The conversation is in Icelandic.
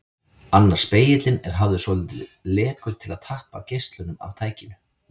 Annar spegillinn er hafður svolítið lekur til að tappa geislanum af tækinu.